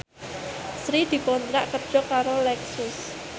Sri dikontrak kerja karo Lexus